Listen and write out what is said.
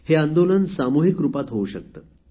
हे आंदोलन सामुहिक रूपात होऊ शकते